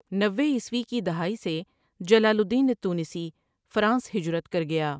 نوے عیسوی کی دہائی سے جلال الدین التونسی فرانس ہجرت کر گیا ۔